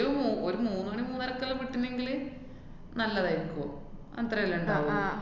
ഒരു മൂ~ ഒരു മൂന്നു മണി മൂന്നരക്കെല്ലാം വിട്ടീനെങ്കില് നല്ലതാരിക്കും. അത്രല്ലേ ഇണ്ടാവുള്ളു.